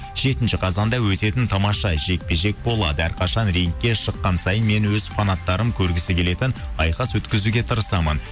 жетінші қазанда өтетін тамаша жекпе жек болады әрқашан рингке шыққан сайын мен өз фанаттарым көргісі келетін айқас өткізуге тырысамын